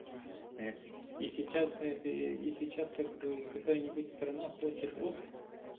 это и сейчас это и сейчас как бы какая-нибудь страна хочет оп